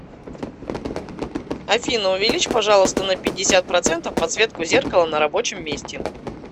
афина увеличь пожалуйста на пятьдесят процентов подсветку зеркала на рабочем месте